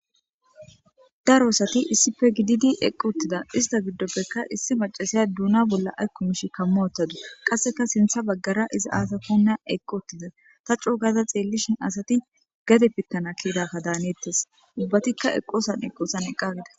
Daro asati issife gididi eqqu uttida ista giddoppekka issi macasiya duuna bolla aykku mishi kammo ottadu qasseka sintha baggara iza aasakonna eqqu uttida ta coo gada xeellishin asati gade pittana kiidakka daaneettes ubbatikka eqosan eqqoosan eqqagida